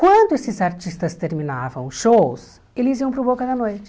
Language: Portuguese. Quando esses artistas terminavam os shows, eles iam para o Boca da Noite.